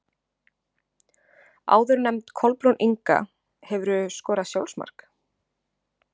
Áðurnefnd Kolbrún Inga Hefurðu skorað sjálfsmark?